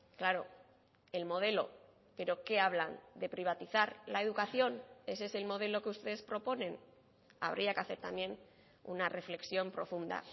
claro el modelo pero qué hablan de privatizar la educación ese es el modelo que ustedes proponen habría que hacer también una reflexión profunda